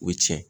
O tiɲɛ